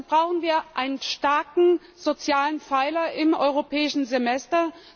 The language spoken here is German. Dazu brauchen wir einen starken sozialen Pfeiler im Europäischen Semester.